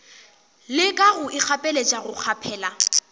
leka go ikgapeletša go kgaphela